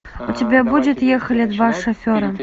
у тебя будет ехали два шофера